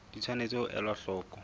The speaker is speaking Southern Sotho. di tshwanetse ho elwa hloko